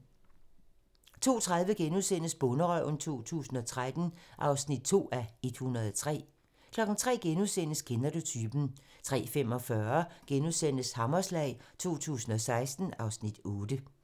02:30: Bonderøven 2013 (2:103)* 03:00: Kender du typen? * 03:45: Hammerslag 2016 (Afs. 8)*